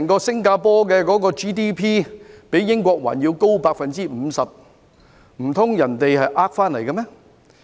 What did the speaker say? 新加坡整體的 GDP 較英國還要高 50%， 難道那是騙回來的嗎？